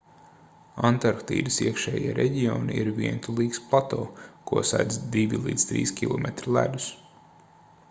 antarktīdas iekšējie reģioni ir vientulīgs plato ko sedz 2-3 km ledus